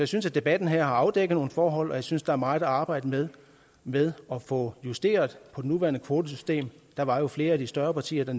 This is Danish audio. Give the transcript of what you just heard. synes at debatten her har afdækket nogle forhold og jeg synes der er meget at arbejde med med at få justeret på det nuværende kvotesystem der var jo flere af de større partier